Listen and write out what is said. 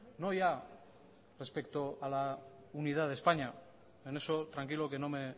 no ya respecto a la unidad de españa en eso tranquilo que no me